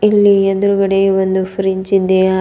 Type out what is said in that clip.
ಇಲ್ಲಿ ಎದುರುಗಡೆ ಒಂದು ಫ್ರಿಡ್ಜ್ ಇದೆ ಹಾ --